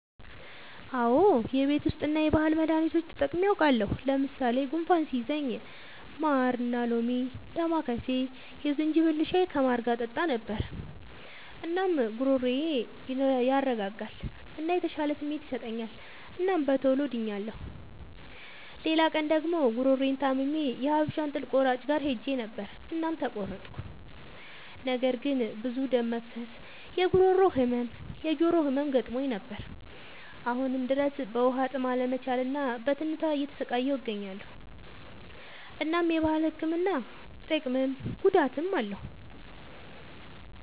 አዎ የቤት ዉስጥ እና የባህል መዳኒቶች ተጠቅሜ አዉቃለሁ። ለምሳሌ፦ ጉንፋን ሲይዘኝ ማርና ሎሚ፣ ዳማከሴ፣ የዝንጅብል ሻይ ከማር ጋር እጠጣ ነበር። እናም ጉሮሮዬን ያረጋጋል እና የተሻለ ስሜት ይሰጠኛል እናም በቶሎ ድኛለሁ። ሌላ ቀን ደግሞ ጉሮሮየን ታምሜ የሀበሻ እንጥል ቆራጭ ጋር ሄጀ ነበር እናም ተቆረጥኩ። ነገር ግን ብዙ ደም መፍሰስ፣ የጉሮሮ ህመም፣ የጆሮ ህመም ገጥሞኝ ነበር። አሁንም ድረስ በዉሀጥም አለመቻል እና በትንታ እየተሰቃየሁ እገኛለሁ። እናም የባህል ህክምና ጥቅምም ጉዳትም አለዉ።